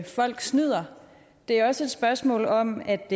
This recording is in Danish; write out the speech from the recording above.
folk snyder det er også et spørgsmål om at